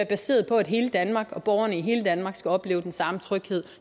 baseret på at hele danmark og borgerne i hele danmark skal opleve den samme tryghed